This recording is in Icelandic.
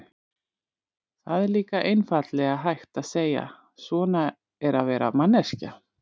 Það er líka einfaldlega hægt að segja: svona er að vera manneskja.